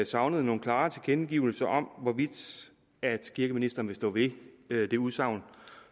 savnede nogle klare tilkendegivelser af hvorvidt kirkeministeren vil stå ved det udsagn